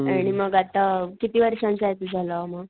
आणि मग आता किती वर्षांचा आहे तुझा लॉ मग?